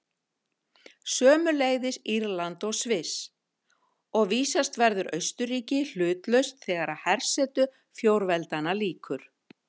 Sömuleiðis Írland og Sviss, og vísast verður Austurríki hlutlaust þegar hersetu fjórveldanna lýkur.